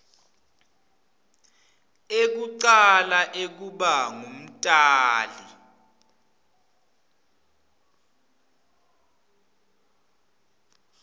ekucala ekuba ngumtali